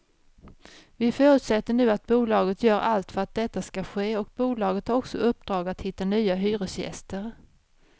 Vi förutsätter nu att bolaget gör allt för att detta skall ske och bolaget har också uppdrag att hitta nya hyresgäster.